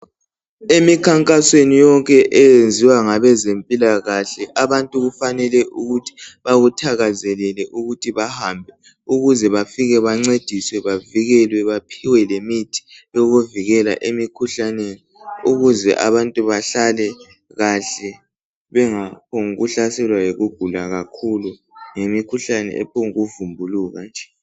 Emikhankasweni yonke eyenziwa ngabezempilakahle abantu kufanele ukuthi bewuthakazelele ukuthi bahambe ukuze bafike bancediswe bavikelwe baphiwe lemithi yokuvikela emikhuhlaneni ukuze abantu bahalale kahle bengaphonguhlaselwa yikugula kakhulu ngemikhuhlane ephongu vumbuluka nje.